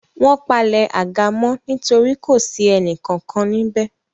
Wọ́n palẹ̀ àga mọ́ nítorí kò sí ẹnì kankan níbẹ̀